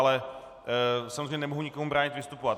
Ale samozřejmě nemohu nikomu bránit vystupovat.